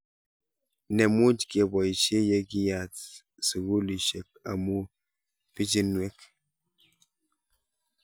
Ne much kepoishe ye kiyat sukulishek amu pichiinwek